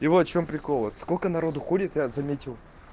и вот в чём прикол сколько народу ходит я заметил